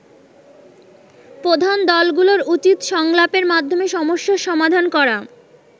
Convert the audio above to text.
প্রধান দলগুলোর উচিত সংলাপের মাধ্যমে সমস্যার সমাধান করা।